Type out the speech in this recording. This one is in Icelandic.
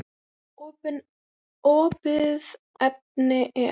Opið efni er